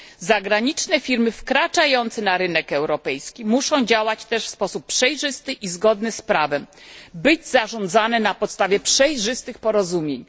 Firmy zagraniczne wkraczające na rynek europejski muszą działać w sposób przejrzysty i zgodny z prawem, być zarządzane na podstawie przejrzystych porozumień.